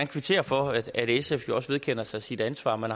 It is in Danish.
kvittere for at sf jo også vedkender sig sit ansvar man